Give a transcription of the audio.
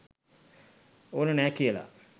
ඕන නෑ කියලා.